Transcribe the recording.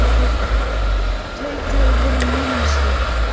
Tautaði fyrir munni sér.